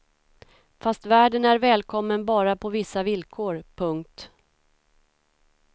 Fast världen är välkommen bara på vissa villkor. punkt